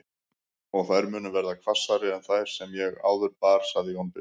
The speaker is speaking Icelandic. Og þær munu verða hvassari en þær sem ég áður bar, sagði Jón biskup.